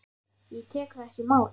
Ég tek það ekki í mál!